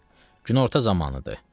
Günorta zamanıdır.